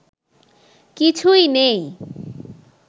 কিছুই নেই